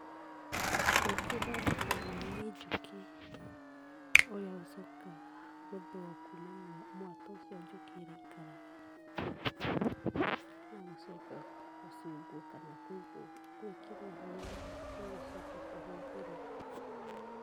Ũkĩ ũthondekagwo nĩ njũkĩ ũrĩa ũcokaga gũthũo kuuma mwatũ ũcio njũkĩ iraikaraga na gũcoka gũcungwo kana gwĩkĩrwo harĩa ũgũcoka kũhũthĩrwo.